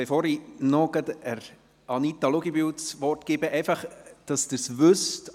Bevor ich Anita Luginbühl das Wort erteile, folgender Hinweis, damit Sie es wissen.